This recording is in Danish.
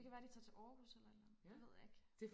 det kan være de tager til Aarhus eller et eller andet det ved jeg ikke